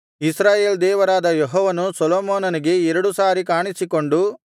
ಇಸ್ರಾಯೇಲ್ ದೇವರಾದ ಯೆಹೋವನು ಸೊಲೊಮೋನನಿಗೆ ಎರಡು ಸಾರಿ ಕಾಣಿಸಿಕೊಂಡು